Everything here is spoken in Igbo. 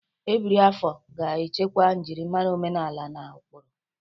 Ebiri afọ ga-echekwa njirimara omenala na ụkpụrụ.